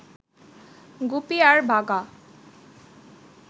গুপি আর বাঘা